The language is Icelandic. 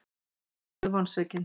Einn verður vonsvikinn.